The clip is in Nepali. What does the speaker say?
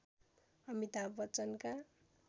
अमिताभ बच्चनका